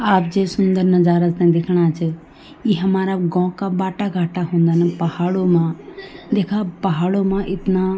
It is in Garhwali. आप जिस सुन्दर नजारा थे दिखणा च ई हमारा गों का बाटा-गाटा हुंदा न पहाड़ों मा देखा पहाड़ों मा इतना --